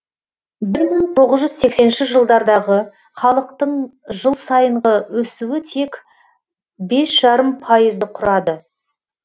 бір мың тоғыз жүз сексенінші жылдардағы халықтың жыл сайынғы өсуі тек бес жарым пайызды құрады